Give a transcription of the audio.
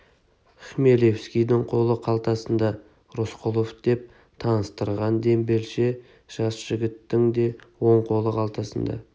хмелевскийдің қолы қалтасында рысқұлов деп таныстырған дембелше жас жігіттің де оң қолы қалтасында